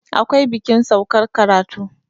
akwai bikin saukar karatu